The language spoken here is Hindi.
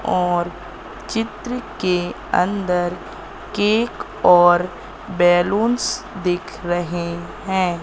और चित्र के अंदर केक और बैलूंस दिख रहे हैं।